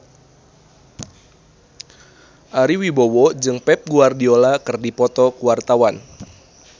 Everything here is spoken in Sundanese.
Ari Wibowo jeung Pep Guardiola keur dipoto ku wartawan